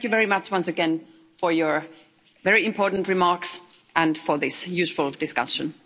Thank you very much once again for your very important remarks and for this useful discussion.